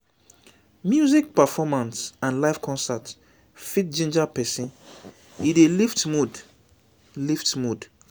music performance and live concert fit ginger person e dey lift mood lift mood